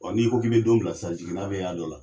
Ɔɔ n'i ko k'i be don bila sisan jiginna be y'a dɔ la.